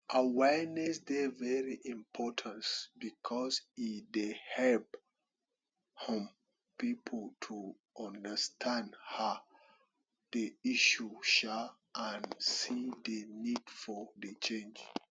awareness dey very importance because e dey help um people to understand um di issue um and see di need for di change